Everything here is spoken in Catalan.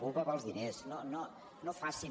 cupa pels diners no facin